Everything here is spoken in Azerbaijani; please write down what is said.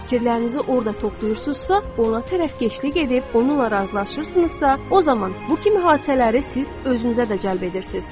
fikirlərinizi orada toplayırsınızsa, ona tərəfkeşlik edib, onunla razılaşırsınızsa, o zaman bu kimi hadisələri siz özünüzə də cəlb edirsiz.